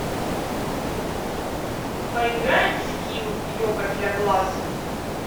поиграем в скилл йога для глаз